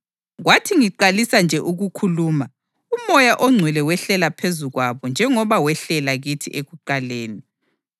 Kwathi ngiqalisa nje ukukhuluma, uMoya oNgcwele wehlela phezu kwabo njengoba wehlela kithi ekuqaleni.